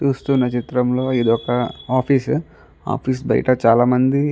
చూస్తున్న చిత్రం లో ఇది ఒక ఆఫీస్ ఆఫీస్ బయట చాల మంది --